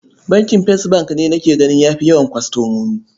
Bankin First bank ne nake gani ya fi yawan kwastomomi.